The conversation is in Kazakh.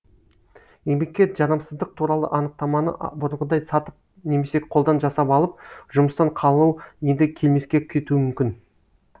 еңбекке жарамсыздық туралы анықтаманы бұрынғыдай сатып немесе қолдан жасап алып жұмыстан қалу енді келмеске кетуі мүмкін